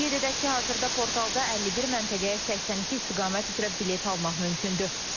Qeyd edək ki, hazırda portalda 51 məntəqəyə 82 istiqamət üzrə bilet almaq mümkündür.